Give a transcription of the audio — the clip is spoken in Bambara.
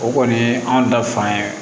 O kɔni ye anw da fan ye